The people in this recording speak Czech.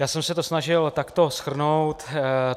Já jsem se to snažil takto shrnout.